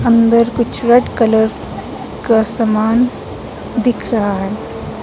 अंदर कुछ red colour का सामान दिख रहा है।